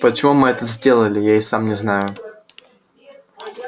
почему мы это сделали я и сам не знаю